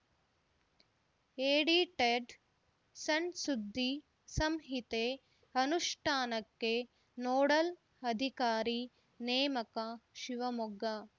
edited ಸಣ್‌ಸುದ್ದಿ ಸಂಹಿತೆ ಅನುಷ್ಠಾನಕ್ಕೆ ನೋಡಲ್‌ ಅಧಿಕಾರಿ ನೇಮಕ ಶಿವಮೊಗ್ಗ